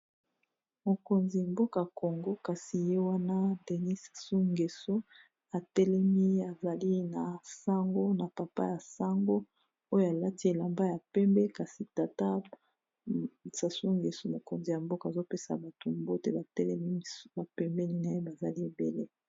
Mokonzi mboka Congo kasi ye wana Denis Sassou Ngeso atelemi azali na sango na papa ya sango oyo alati elamba ya pembe kasi tata Sassou Ngeso mokonzi ya mboka azopesa mutu mbote batelemi na pembeni na ye bazali ebele.